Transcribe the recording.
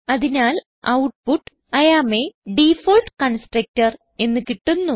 അതിനാൽ output I am a default constructor എന്ന് കിട്ടുന്നു